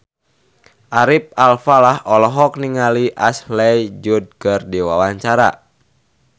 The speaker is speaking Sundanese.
Ari Alfalah olohok ningali Ashley Judd keur diwawancara